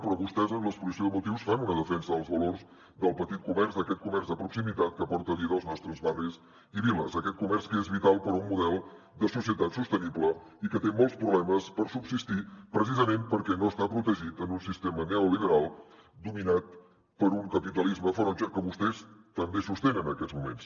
però vostès en l’exposició de motius fan una defensa dels valors del petit comerç d’aquest comerç de proximitat que aporta vida als nostres barris i viles d’aquest comerç que és vital per un model de societat sostenible i que té molts problemes per subsistir precisament perquè no està protegit en un sistema neoliberal dominat per un capitalisme ferotge que vostès també sostenen en aquests moments